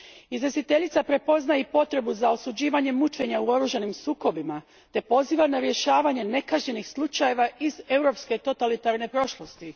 Izvjestiteljica prepoznaje i potrebu za osuđivanje mučenja u oružanim sukobima te poziva na rješavanje nekažnjenih slučajeva iz europske totalitarne prošlosti.